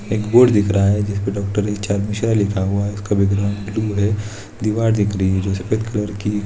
एक बोर्ड दिखा रहा हैं जिसपर डॉक्टर एच.आर. मिश्रा लिखा हैं उसका बेकग्राउन्गड ब्लू है | दीवार दिख रही है जो सफ़ेद कलर की --